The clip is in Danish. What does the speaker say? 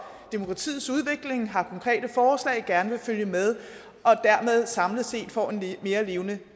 demokratiets udvikling har konkrete forslag og gerne vil følge med og dermed samlet set få en mere levende